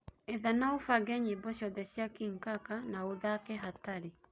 etha na ubange nyĩmbo cĩothe cĩa King kaka na ũthake hatari